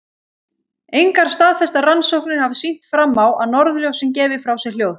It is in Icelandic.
Engar staðfestar rannsóknir hafa sýnt fram á að norðurljósin gefi frá sér hljóð.